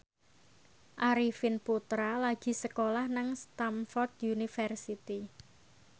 Arifin Putra lagi sekolah nang Stamford University